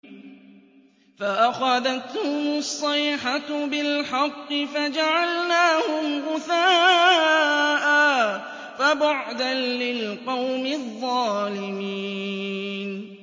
فَأَخَذَتْهُمُ الصَّيْحَةُ بِالْحَقِّ فَجَعَلْنَاهُمْ غُثَاءً ۚ فَبُعْدًا لِّلْقَوْمِ الظَّالِمِينَ